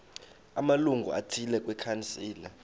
amalungu athile kwikhansile